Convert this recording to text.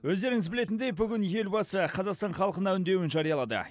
өздеріңіз білетіндей бүгін елбасы қазақстан халқына үндеуін жариялады